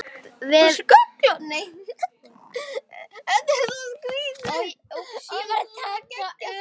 Við eftir jólum bíðum.